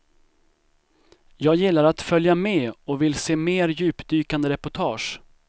Jag gillar att följa med och vill se mer djupdykande reportage.